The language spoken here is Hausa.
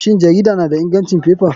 Shin jarida na da ingancin faifa?